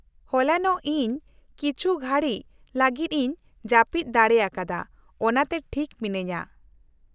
-ᱦᱚᱞᱟᱱᱚᱜ ᱤᱧ ᱠᱤᱪᱷᱩ ᱠᱷᱟᱹᱲᱤᱪ ᱞᱟᱹᱜᱤᱫ ᱤᱧ ᱡᱟᱹᱯᱤᱫ ᱫᱟᱲᱮ ᱟᱠᱟᱫᱟ, ᱚᱱᱟᱛᱮ ᱴᱷᱤᱠ ᱢᱤᱱᱟᱹᱧᱟ ᱾